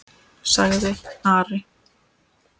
sagði Ari.